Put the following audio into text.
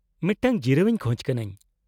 -ᱢᱤᱫᱴᱟᱝ ᱡᱤᱨᱟᱹᱣ ᱤᱧ ᱠᱷᱚᱪ ᱠᱟᱱᱟᱹᱧ ᱾